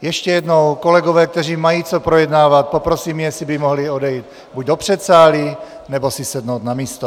Ještě jednou - kolegy, kteří mají co projednávat, poprosím, jestli by mohli odejít buď do předsálí, nebo si sednout na místo.